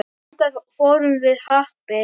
Þangað fórum við Happi.